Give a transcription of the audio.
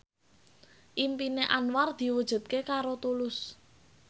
impine Anwar diwujudke karo Tulus